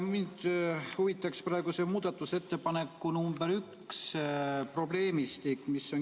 Mind huvitab muudatusettepaneku nr 1 probleemistik.